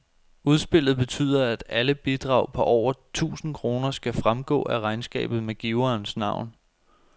Udspillet betyder, at alle bidrag på over tusind kroner skal fremgå af regnskabet med giverens navn.